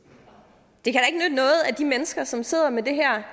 det kan at de mennesker som sidder med det her